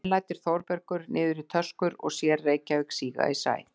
Og enn lætur Þórbergur niður í töskur og sér Reykjavík síga í sæ.